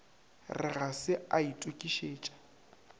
re ga se a itokišetša